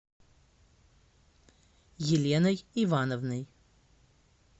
еленой ивановной